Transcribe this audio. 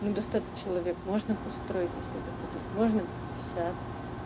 ну до ста человек можно построить если захотеть можно пятьдесят